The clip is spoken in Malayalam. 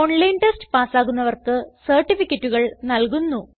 ഓൺലൈൻ ടെസ്റ്റ് പാസ്സാകുന്നവർക്ക് സർട്ടിഫികറ്റുകൾ നല്കുന്നു